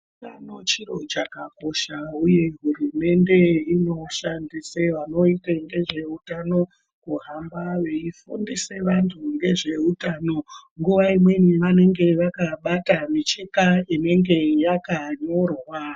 Utano chiro chakakosha uye hurumende inoshandise vanoita ngezveutano kuhamba veifundise vantu ngezveutano. Nguwa imweni vanenge vakabata micheka inenge yakanyorwa.